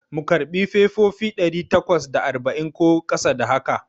Mu karɓi fefofi ɗari takwas da arba'in ko ƙasa da haka?